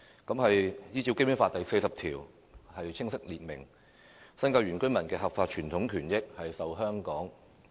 《基本法》第四十條清楚訂明，"'新界'原居民的合法傳統權益受香港特......